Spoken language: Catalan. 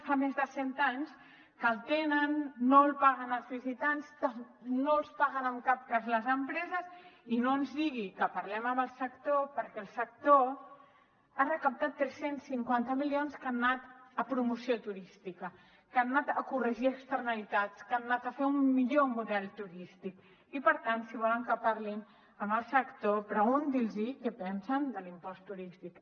fa més de cent anys que el tenen no el paguen els visitants no el paguen en cap cas les empreses i no ens digui que parlem amb el sector perquè el sector ha recaptat tres cents i cinquanta milions que han anat a promoció turística que han anat a corregir externalitats que han anat a fer un millor model turístic i per tant si volen que parlem amb el sector preguntin los què en pensen de l’impost turístic